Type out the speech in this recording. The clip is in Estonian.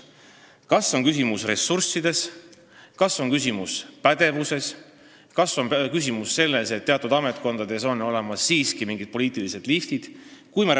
Kas küsimus on ressurssides, kas küsimus on pädevuses, kas küsimus on selles, et teatud ametkondades on olemas mingid poliitilised "liftid"?